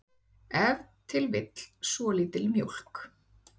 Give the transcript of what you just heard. ef til vill svolítil mjólk